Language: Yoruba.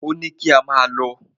Ò ní kín máà lọ.